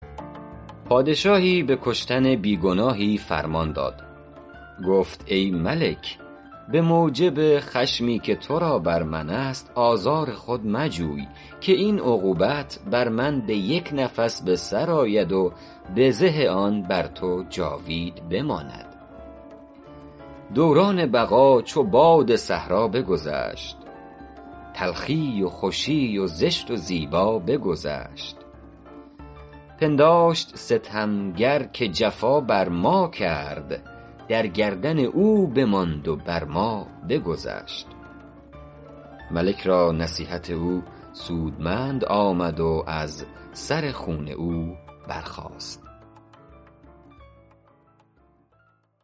پادشاهی به کشتن بی گناهی فرمان داد گفت ای ملک به موجب خشمی که تو را بر من است آزار خود مجوی که این عقوبت بر من به یک نفس به سر آید و بزه آن بر تو جاوید بماند دوران بقا چو باد صحرا بگذشت تلخی و خوشی و زشت و زیبا بگذشت پنداشت ستمگر که جفا بر ما کرد در گردن او بماند و بر ما بگذشت ملک را نصیحت او سودمند آمد و از سر خون او در گذشت